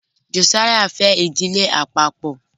Josiah fè Ìdílé àpapo.